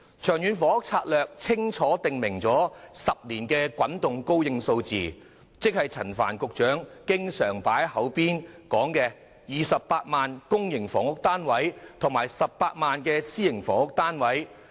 《長遠房屋策略》清楚訂明為期10年的滾動供應數字，即陳帆局長掛在口邊的28萬個公營房屋單位及18萬個私營房屋單位。